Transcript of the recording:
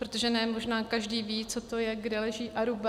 Protože možné ne každý ví, co to je, kde leží Aruba.